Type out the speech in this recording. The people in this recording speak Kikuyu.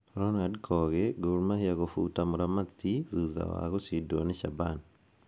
Ronald Kogi: Gor Mahia gũbuta mũramati thutha wa gũcindwo ni Shaban.